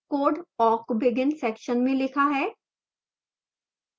code awk begin section में लिखा है